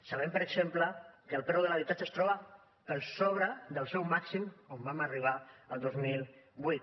sabem per exemple que el preu de l’habitatge es troba per sobre del seu màxim on vam arribar al dos mil vuit